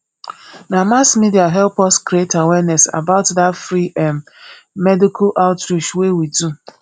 na mass media help us create awareness about dat free um medical outreach wey we do